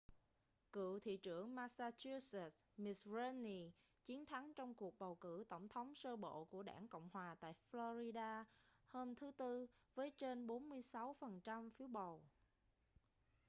cựu thị trưởng massachusetts mitt romney chiến thắng trong cuộc bầu cử tổng thống sơ bộ của đảng cộng hòa tại florida hôm thứ tư với trên 46 phần trăm phiếu bầu